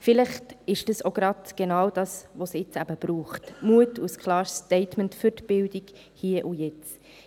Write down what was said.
Vielleicht ist dies genau das, was es jetzt braucht: Mut und ein klares Statement für die Bildung, hier und jetzt.